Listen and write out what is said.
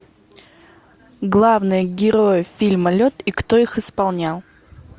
главные герои фильма лед и кто их исполнял